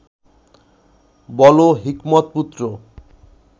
বলো, হিকমত-পুত্র